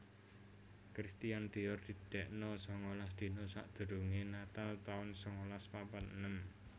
Christian Dior didekno sangalas dina sakdurunge natal taun sangalas papat enem